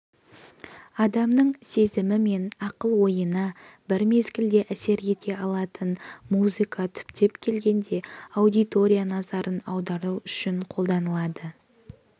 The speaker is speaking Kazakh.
адамның сезімі мен ақыл-ойына бір мезгілде әсер ете алатын музыка түптеп келгенде аудитория назарын аудару үшін қолданылады